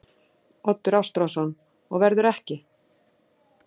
Oddur Ástráðsson: Og verður ekki?